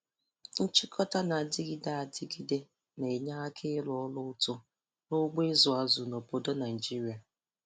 Nchịkọta na-adịgide adịgide na-enye aka ịrụ ọrụ uto n' ugbo ịzụ azụ n'obodo Naịjirịa.